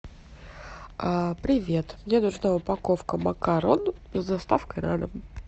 привет мне нужна упаковка макарон с доставкой на дом